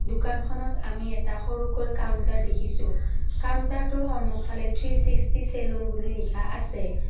দোকানখনত আমি এটা সৰুকৈ কাউন্টাৰ দেখিছোঁ কাউন্টাৰটোৰ সন্মুখলে থ্ৰি ছিক্সটি চেলুন বুলি লিখা আছে।